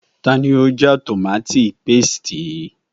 Ta ni ó já tòmááti pasìtì yìí